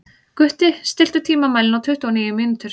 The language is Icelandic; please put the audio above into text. Gutti, stilltu tímamælinn á tuttugu og níu mínútur.